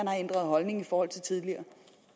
har ændret holdning i forhold til tidligere